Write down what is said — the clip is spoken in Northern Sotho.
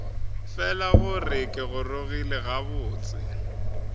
fela gore ke gorogile gabotse